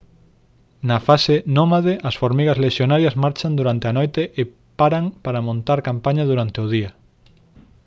na fase nómade as formigas lexionarias marchan durante a noite e paran para montar campaña durante o día